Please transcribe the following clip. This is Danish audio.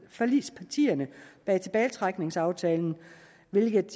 forligspartierne bag tilbagetrækningsaftalen hvilke